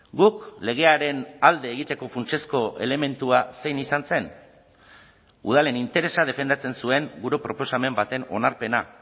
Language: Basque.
guk legearen alde egiteko funtsezko elementua zein izan zen udalen interesa defendatzen zuen gure proposamen baten onarpena